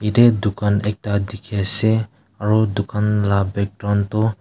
jatte dukan ekta dekhi ase aru dukan laga background tu.